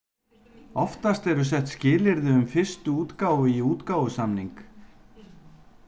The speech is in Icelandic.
Oftast eru sett skilyrði um fyrstu útgáfu í útgáfusamning.